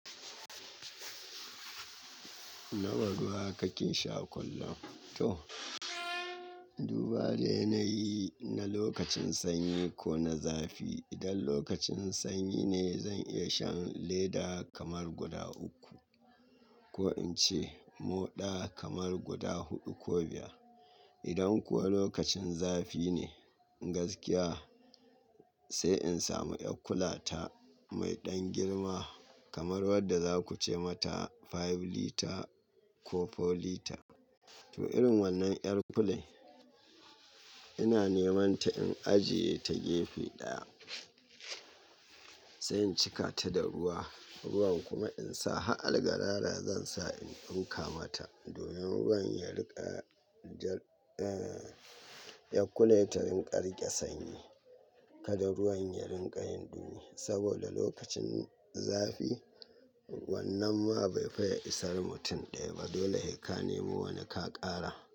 Nawa ruwa kake sha kullum? To, duba dai na yi na lokacin sanyi ko na zafi. Idan lokacin sanyi ne zan iya shan leda kamar guda uku ko in ce moɗa kamar guda huɗu ko biyar. Idan kuwa lokacin zafi ne, gaskiya sai in samu 'yar kulata mai ɗan girma kamar wadda za ku ce mata five litre ko four litre. To, irin wannan 'yar kulai ina neman ta in ajiye ta gefe ɗaya sai in cika ta da ruwa, ruwan kuma in sa. Ha'al garara zan sa in tsinƙa mata domin ruwan ya riƙa, ja, eh, 'yar kulata ta rinƙa rike sanyi, kada ruwan ya rinƙa yin dumi. Saboda lokacin zafi wannan ma bai fi ya isar mutum ɗaya ba. Dole heka ne mo wani ka ƙara.